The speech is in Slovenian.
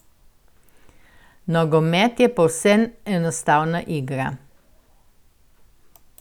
Nogomet je povsem enostavna igra.